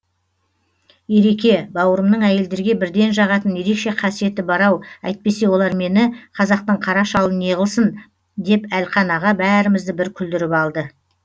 ереке бауырымның әйелдерге бірден жағатын ерекше қасиеті бар ау әйтпесе олар мені қазақтың қара шалын неғылсын деп әлқан аға бәрімізді бір күлдіріп алды